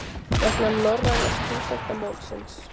Vegna norræna stúdentamótsins?